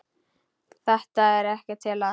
Þetta er ekkert til að.